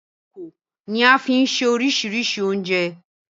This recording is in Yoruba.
Ìkòkò ni a fi ń se oríṣiríṣi oúnjẹ.